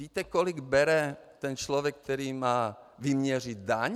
Víte, kolik bere ten člověk, který má vyměřit daň?